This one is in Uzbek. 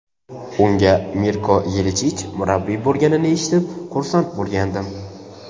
Unga Mirko Yelichich murabbiy bo‘lganini eshitib, xursand bo‘lgandim.